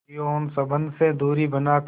यौन संबंध से दूरी बनाकर